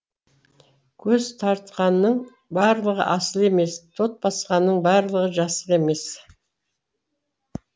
көз тартқанның барлығы асыл емес тот басқанның барлығы жасық емес